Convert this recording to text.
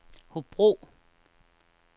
Hobro